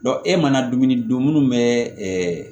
e mana dumuni dun munnu bɛ